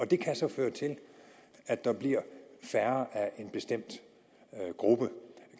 det kan så føre til at der bliver færre i en bestemt gruppe